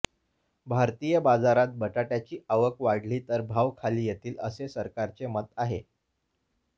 भारतीय बाजारात बटाट्याची आवक वाढली तर भाव खाली येतील असे सरकारचे मत आहे